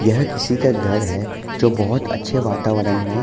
यह किसी का घर है जो बहोत अच्छे वातावरण में --